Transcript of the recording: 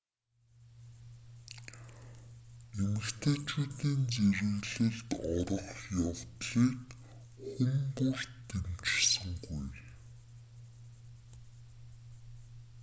эмэгтэйчүүдийн зэрэглэлд орох явдлыг хүн бүр дэмжсэнгүй